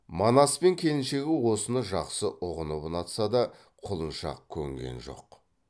манас пен келіншегі осыны жақсы ұғынып ұнатса да құлыншақ көнген жоқ